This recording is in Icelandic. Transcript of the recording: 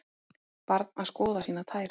Barn að skoða sínar tær.